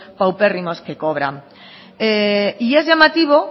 paupérrimos que cobran y es llamativo